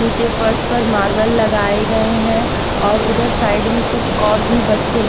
नीचे फर्श पर मार्बल लगाए गए हैं और उधर साइड में कुछ और भी बच्चे--